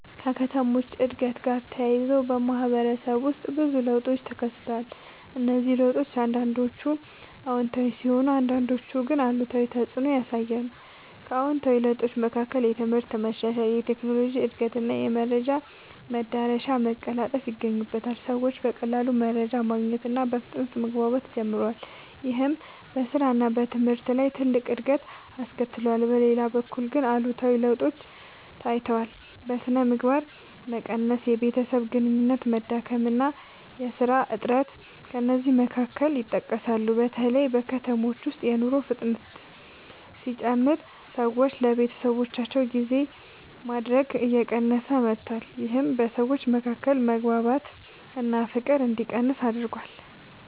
ከከተሞች እድገት ጋር ተያይዞ በማህበረሰብ ውስጥ ብዙ ለውጦች ተከስተዋል። እነዚህ ለውጦች አንዳንዶቹ አዎንታዊ ሲሆኑ አንዳንዶቹ ግን አሉታዊ ተፅዕኖ ያሳያሉ። ከአዎንታዊ ለውጦች መካከል የትምህርት መሻሻል፣ የቴክኖሎጂ እድገት እና የመረጃ መዳረሻ መቀላጠፍ ይገኛሉ። ሰዎች በቀላሉ መረጃ ማግኘት እና በፍጥነት መግባባት ጀምረዋል። ይህም በስራ እና በትምህርት ላይ ትልቅ እድገት አስከትሏል። በሌላ በኩል ግን አሉታዊ ለውጦችም ታይተዋል። የሥነ ምግባር መቀነስ፣ የቤተሰብ ግንኙነት መዳከም እና የሥራ እጥረት ከእነዚህ መካከል ይጠቀሳሉ። በተለይ በከተሞች ውስጥ የኑሮ ፍጥነት ሲጨምር ሰዎች ለቤተሰባቸው ጊዜ ማድረግ እየቀነሰ መጥቷል። ይህም በሰዎች መካከል መግባባት እና ፍቅር እንዲቀንስ አድርጓል።